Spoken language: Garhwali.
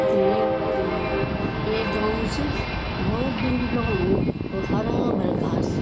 यखम एक अ एक गाँव च भौत दूर लगणु वूँ औ हरा भरा घास।